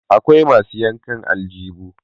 akwai masu yankan aljibu